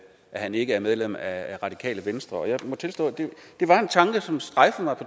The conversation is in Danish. at han ikke er medlem af radikale venstre og jeg må tilstå at det var en tanke som strejfede mig